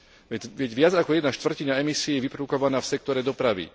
Veď viac ako jedna štvrtina emisií je vyprodukovaná v sektore dopravy.